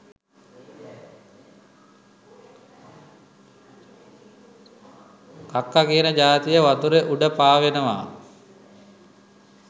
කක්ක කියන ජාතිය වතුර උඩ පාවෙනව.